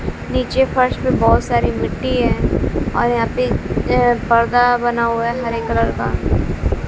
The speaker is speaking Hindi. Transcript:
नीचे फर्श पे बहोत सारी मिट्टी है और यहां पे अं पर्दा बना हुआ है हरे कलर का--